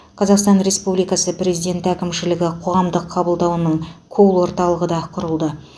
қазақстан республикасы президенті әкімшілігі қоғамдық қабылдауының колл орталығы құрылды